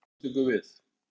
Höskuldur: Hvað tekur við?